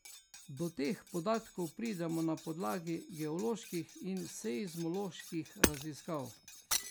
Do teh podatkov pridemo na podlagi geoloških in seizmoloških raziskav.